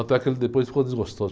Até que ele depois ficou desgostoso.